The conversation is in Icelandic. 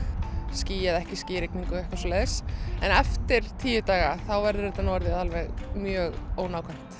ský eða ekki ský og eitthvað svoleiðis en eftir tíu daga þá verður þetta orðið alveg mjög ónákvæmt